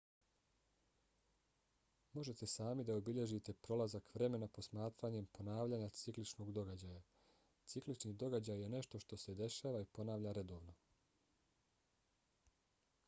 možete sami da obilježite prolazak vremena posmatranjem ponavljanja cikličnog događaja. ciklični događaj je nešto što se dešava i ponavlja redovno